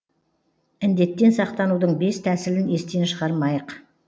індеттен сақтанудың бес тәсілін естен шығармайық